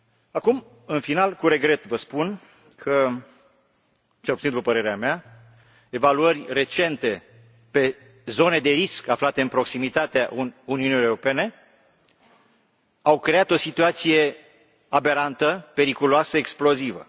Acum, în final, cu regret vă spun că, cel puțin după părerea mea, evaluări recente pe zone de risc aflate în proximitatea Uniunii Europene au creat o situație aberantă, periculoasă, explozivă.